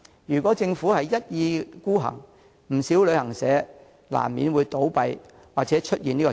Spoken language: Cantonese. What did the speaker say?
如果政府一意孤行，不少旅行社難免會倒閉或出現裁員潮。